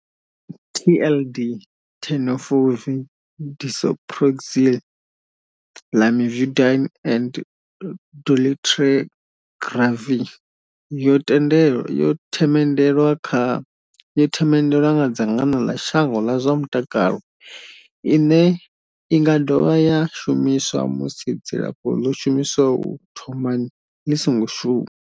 TLD, Tenofovir disoproxil, Lamivudine and dolutegravir, yo themendelwa nga dzangano ḽa shango ḽa zwa mutakalo. Ine Inga dovha ya shumiswa musi dzilafho ḽo shumiswaho u thomani ḽi songo shuma.